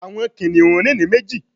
Àwọn kìnìún rìn ní méjì